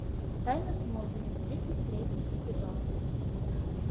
тайна смолвиля тридцать третий эпизод